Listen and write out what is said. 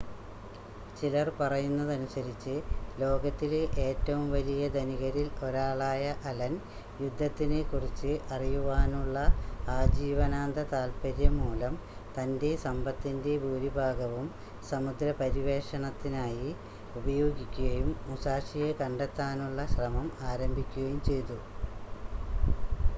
ചിലർ പറയുന്നതനുസരിച്ച് ലോകത്തിലെ ഏറ്റവും വലിയ ധനികരിൽ ഒരാളായ അലൻ യുദ്ധത്തിനെക്കുറിച്ച് അറിയുവാനുള്ള ആജീവനാന്ത താല്പര്യം മൂലം തൻ്റെ സമ്പത്തിൻ്റെ ഭൂരിഭാഗവും സമുദ്രപര്യവേഷണത്തിനായി ഉപയോഗിക്കുകയും മുസാഷിയെ കണ്ടെത്താനുള്ള ശ്രമം ആരംഭിക്കുകയും ചെയ്തു